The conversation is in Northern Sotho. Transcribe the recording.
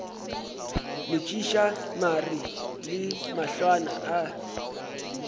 metšiša mare le mahlwana a